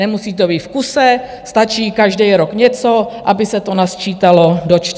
Nemusí to být v kuse, stačí každý rok něco, aby se to nasčítalo do 4 let.